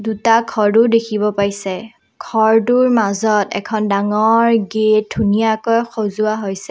দুটা ঘৰো দেখিব পাইছে ঘৰটোৰ মাজত এখন ডাঙৰ গেট ধুনীয়াকৈ সজোৱা হৈছে।